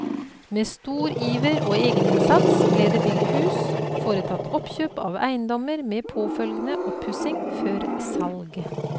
Med stor iver og egeninnsats ble det bygd hus, foretatt oppkjøp av eiendommer med påfølgende oppussing før salg.